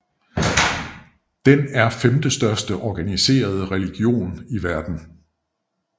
Den er femtestørste organiserede religion i verden